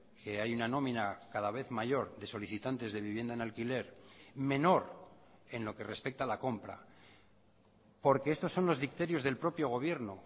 que hay una nómina cada vez mayor de solicitantes de vivienda en alquiler menor en lo que respecta a la compra porque estos son los dicterios del propio gobierno